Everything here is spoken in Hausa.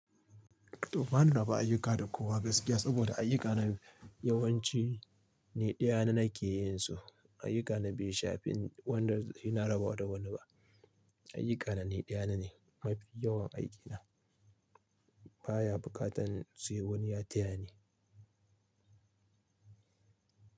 To ba ni raba ayuka da kowa gaskiya saboda ayuka na yawanci ni ɗaya na ke yin su. Ayuka na bai shafi wanda zan raba da wani ba. Ayuka na ni ɗaya na ne mafi yawan aiki na. Ba ya buƙatar sai wani ya taya ni.